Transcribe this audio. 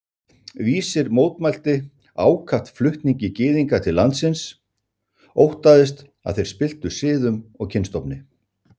Vísir mótmælti ákaft flutningi Gyðinga til landsins, óttaðist, að þeir spilltu siðum og kynstofni